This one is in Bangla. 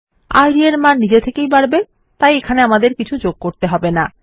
ইদ এর মান নিজে থেকে বাড়বে তাই আমাদের এখানে কিছু যোগ হবে না